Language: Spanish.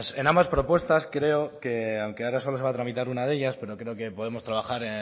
en ambas propuestas creo que aunque ahora solo se va a tramitar una de ellas pero creo que podemos trabajar